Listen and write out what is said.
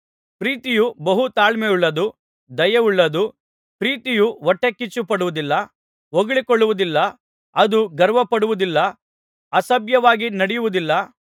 ಪ್ರೀತಿಯು ಬಹು ತಾಳ್ಮೆಯುಳ್ಳದ್ದು ದಯೆಯುಳ್ಳದ್ದು ಪ್ರೀತಿಯು ಹೊಟ್ಟೆಕಿಚ್ಚುಪಡುವುದಿಲ್ಲ ಹೊಗಳಿಕೊಳ್ಳುವುದಿಲ್ಲ ಅದು ಗರ್ವಪಡುವುದಿಲ್ಲ ಅಸಭ್ಯವಾಗಿ ನಡೆಯುವುದಿಲ್ಲ